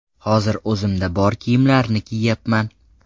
Hozir o‘zimda bor kiyimlarni kiyyapman.